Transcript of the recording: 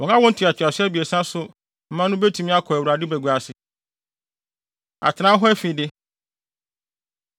Wɔn awo ntoatoaso abiɛsa so mma no betumi akɔ Awurade bagua ase. Atenae Hɔ Afide